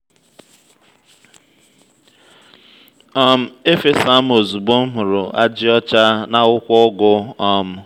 um e'fesa m ozugbo m hụrụ ajị ọcha n’akwụkwọ ugu. um